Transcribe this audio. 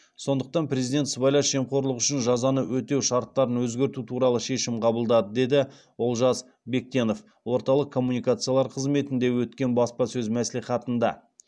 сондықтан президент сыбайлас жемқорлық үшін жазаны өтеу шарттарын өзгерту туралы шешім қабылдады деді олжас бектенов орталық коммуникациялар қызметінде өткен баспасөз мәслихатында